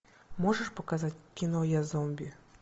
можешь показать кино я зомби